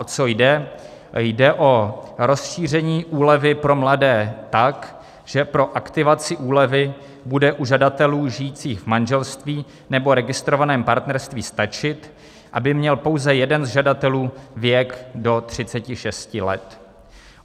O co jde: jde o rozšíření úlevy pro mladé tak, že pro aktivaci úlevy bude u žadatelů žijících v manželství nebo registrovaném partnerství stačit, aby měl pouze jeden z žadatelů věk do 36 let.